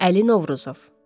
Əli Novruzov.